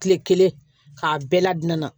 Kile kelen k'a bɛɛ ladon na